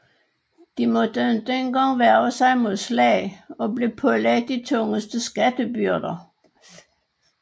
De måtte ikke en gang værge sig mod slag og blev pålagte de tungeste skattebyrder